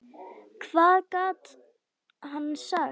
Hvað gat hann sagt?